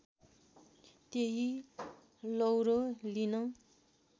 त्यही लौरो लिन